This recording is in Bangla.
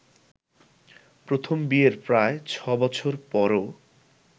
প্রথম ‘বিয়ে’র প্রায় ছয় বছর পরও